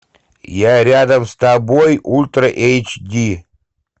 я рядом с тобой ультра эйч ди